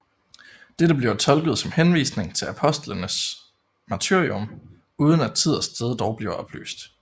Dette bliver tolket som henvisning til apostlenes martyrium uden at tid og sted dog bliver oplyst